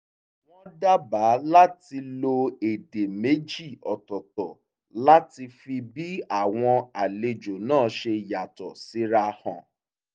wọ́n dábàá láti lo èdè méjì ọ̀tọ̀ọ̀tọ̀ láti fi bí àwọn àlejò náà ṣe yàtọ̀ síra hàn